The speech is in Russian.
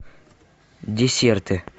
десерты